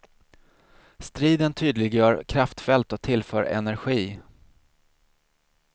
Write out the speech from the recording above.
Striden tydliggör kraftfält och tillför energi.